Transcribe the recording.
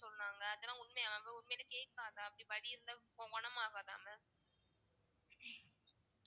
சொன்னாங்க அதெல்லாம் உண்மையா உண்மையிலேயே கேட்காத அப்படி வலி இருந்தா குண~ குணமாகாதா mam